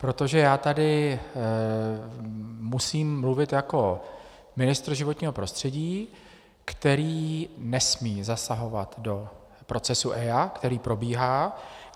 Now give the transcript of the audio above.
Protože já tady musím mluvit jako ministr životního prostředí, který nesmí zasahovat do procesu EIA, který probíhá.